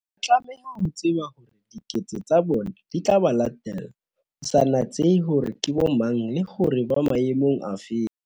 Ba tlameha ho tseba hore diketso tsa bona di tla ba latella, ho sa natsehe hore ke bomang, le hore ba maemong a feng.